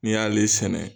N'i y'ale sɛnɛ